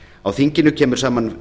á þinginu koma saman